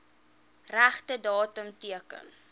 regte datum teken